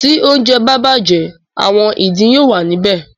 Tí oúnjẹ bá bàjẹ́ “ àwọn ìdin” yóò wà níbẹ̀.